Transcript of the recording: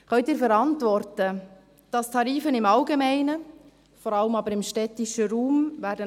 Können Sie verantworten, dass die Tarife im Allgemeinen, vor allem aber im städtischen Raum ansteigen werden?